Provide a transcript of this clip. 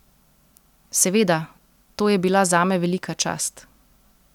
Seveda, to je bila zame velika čast.